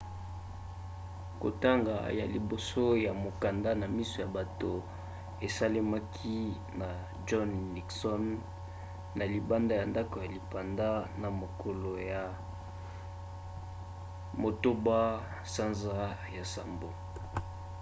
kotanga ya liboso ya mokanda na miso ya bato esalemaki na john nixon ne libanda ya ndako ya lipanda na mokolo ya 8 sanza ya nsambo